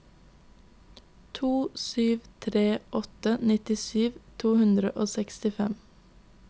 to sju tre åtte nittisju to hundre og sekstifem